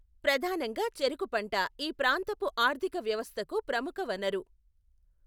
ప్రధానంగా చెరకు పంట ఈ ప్రాంతపు ఆర్ధిక వ్యవస్థకు ప్రముఖ వనరు.